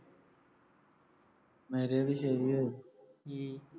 ਮੈਂ ਕਿਹਾ ਬਈ